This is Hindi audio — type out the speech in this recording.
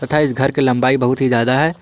यहां इस घर की लंबाई बहुत ही ज्यादा है।